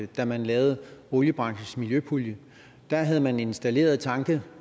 da man lavede oliebranchens miljøpulje da havde man installeret tanke